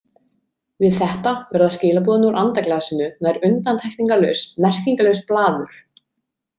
Við þetta verða skilaboðin úr andaglasinu nær undantekningarlaust merkingarlaust blaður.